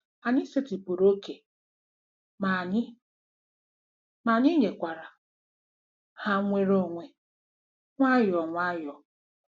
"Anyị setịpụrụ ókè, ma anyị, ma anyị nyekwara ha nnwere onwe, nwayọọ nwayọọ.